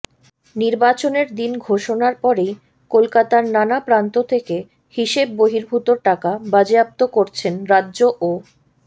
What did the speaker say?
নির্বাচনের দিন ঘোষণার পরেই কলকাতার নানা প্রান্ত থেকে হিসেব বহির্ভূত টাকা বাজেয়াপ্ত করছেন রাজ্য ও